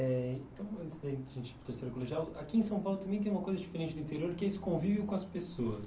Eh então, antes da gente ir para o terceiro colegial, aqui em São Paulo também tem uma coisa diferente do interior, que é esse convívio com as pessoas.